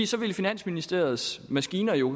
så ville finansministeriets maskiner jo